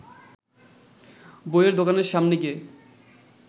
বইয়ের দোকানের সামনে গিয়ে